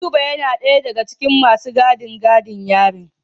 Ayuba yana daya daga cikin masu gadin gidan yarin.